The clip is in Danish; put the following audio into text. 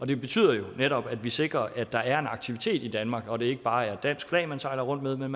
det betyder netop at vi sikrer at der er en aktivitet i danmark og at det ikke bare er et dansk flag man sejler rundt med men